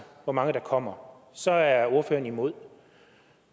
hvor mange der kommer så er ordføreren imod